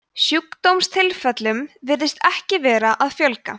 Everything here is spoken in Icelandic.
sjúkdómstilfellum virðist ekki vera að fjölga